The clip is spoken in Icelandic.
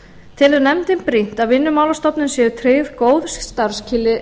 telur nefndin brýnt að vinnumálastofnun séu tryggð góð starfsskilyrði